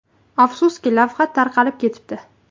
Afsuski, lavha tarqalib ketibdi.